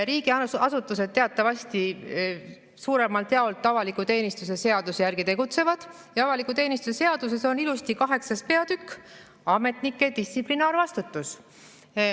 " Riigiasutused teatavasti suuremalt jaolt avaliku teenistuse seaduse järgi tegutsevad ja avaliku teenistuse seaduses on ilusti 8. peatükk "Ametnike distsiplinaarvastutus".